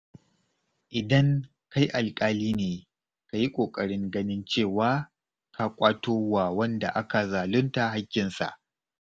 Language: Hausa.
Idan kai alƙali ne, ka yi ƙoƙarin ganin cewa ka ƙwato wa wanda aka zalunta haƙƙinsa.